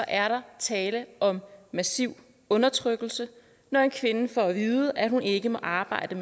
er tale om massiv undertrykkelse når en kvinde får at vide at hun ikke må arbejde